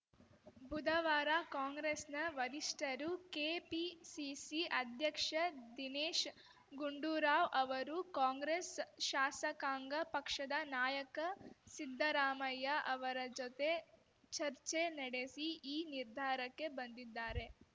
ಬುಧವಾರ ಕಾಂಗ್ರೆಸ್‌ನ ವರಿಷ್ಠರು ಕೆಪಿಸಿಸಿ ಅಧ್ಯಕ್ಷ ದಿನೇಶ್‌ ಗುಂಡೂರಾವ್‌ ಅವರು ಕಾಂಗ್ರೆಸ್‌ ಶಾಸಕಾಂಗ ಪಕ್ಷದ ನಾಯಕ ಸಿದ್ದರಾಮಯ್ಯ ಅವರ ಜೊತೆ ಚರ್ಚೆ ನಡೆಸಿ ಈ ನಿರ್ಧಾರಕ್ಕೆ ಬಂದಿದ್ದಾರೆ